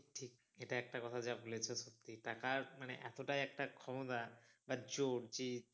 ঠিক এটা একটা কথা যা বলেছো তুমি টাকার মানে এতটাই একটা ক্ষমতা বা জোর যে